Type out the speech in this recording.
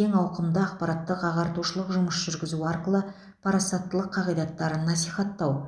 кең ауқымды ақпараттық ағартушылық жұмыс жүргізу арқылы парасаттылық қағидаттарын насихаттау